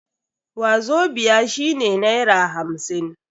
Wazobia shine naira hamsin.